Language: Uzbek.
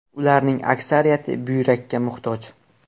Ularning aksariyati buyrakka muhtoj.